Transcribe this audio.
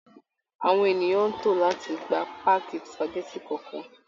Àwọn ènìyàn ń tò láti gba páàkì spageti kọ̀ọ̀kan